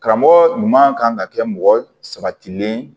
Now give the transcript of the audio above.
Karamɔgɔ ɲuman kan ka kɛ mɔgɔ sabatilen ye